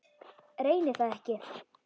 Reyni það ekki.